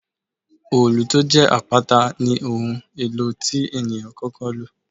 Òòlù tó jẹ́ àpáta ní ohun èlò tí ènìyàn kọ́kọ́ lò.